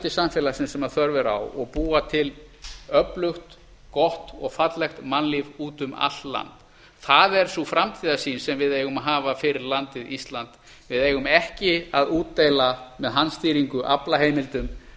samfélagsins sem þörf er á og búa til öflugt gott og fallegt mannlíf út um allt land það er sú framtíðarsýn sem við eigum að hafa fyrir landið ísland við eigum ekki að útdeila með handstýringu aflaheimildum